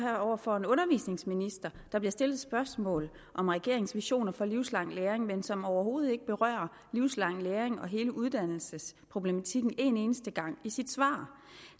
over for en undervisningsminister der bliver stillet et spørgsmål om regeringens visioner for livslang læring men som overhovedet ikke berører livslang læring og hele uddannelsesproblematikken en eneste gang i sit svar